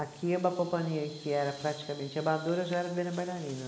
Aqui é uma companhia que era praticamente amadora, eu já era primeira bailarina.